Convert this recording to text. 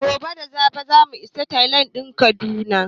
Gobe da safe za mu isa Tekun Atlantika na kudu